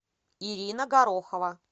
ирина горохова